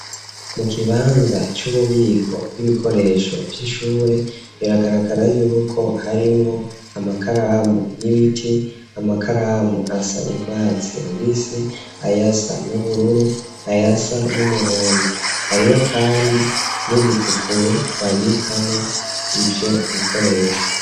Mu kibanza c'ububiko bw'ibikoresho vy'ishure biragaragara yuko harimwo amakaramu y'ibiti, amakaramu asa n'urwatsi rubis, ayasa n'ubururu, ayasa n'umuhondo hariho kandi n'ibipukuro babikamo ivyo bikoresho.